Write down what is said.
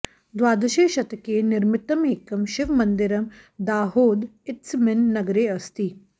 द्वादशे शतके निर्मितम् एकं शिवमन्दिरं दाहोद इत्यस्मिन् नगरे अस्ति